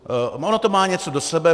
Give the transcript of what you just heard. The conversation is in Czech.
Ono to má něco do sebe.